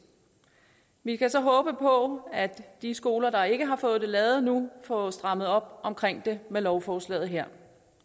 vi kan så håbe på at de skoler der ikke har fået det lavet nu får strammet op omkring det med lovforslaget her